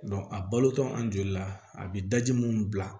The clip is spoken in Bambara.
a balotɔ an joli la a bɛ daji minnu bila